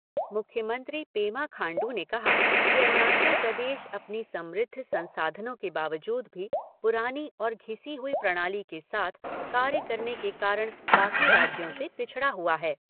मुख्यमंत्री पेमा खांडू ने कहा कि अरुणाचल प्रदेश अपनी समृद्ध संसाधनों के बावजूद भी पुरानी और घिसी हुई प्रणाली के साथ कार्य करने के कारण बाकी राज्यों से पिछड़ा हुआ है।